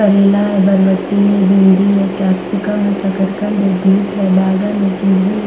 करेला है बरबट्टी है भिंडी है कैप्सिकम है सकरकंद है बीट है बैगन है किंद्री ह --